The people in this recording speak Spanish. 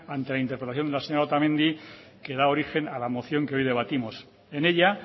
ante la interpretación de la señora otamendi que da origen a la moción que hoy debatimos en ella